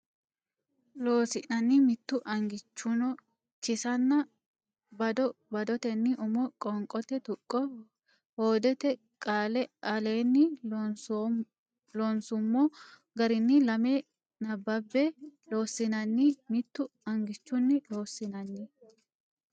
Loossinanni Mittu angichunni kisanna bado badotenni umo qoonqote tuqqo hoodete qaale aleenni loonsummo garinni lame nabbabbe Loossinanni Mittu angichunni Loossinanni.